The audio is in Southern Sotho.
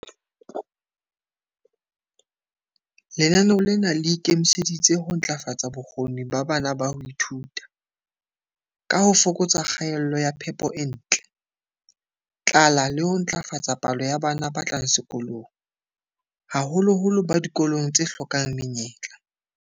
Lenaneo lena le ikemiseditse ho ntlafatsa bokgoni ba bana ba ho ithuta, ka ho fokatsa kgaello ya phepo e ntle, tlala le ho ntlafatsa palo ya bana ba tlang sekolong, haholoholo ba dikolong tse hlokang menyetla.